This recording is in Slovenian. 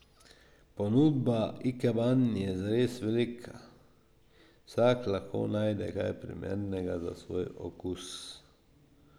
Ponudba ikeban je zares velika in vsak lahko najde kaj primernega za svoj okus.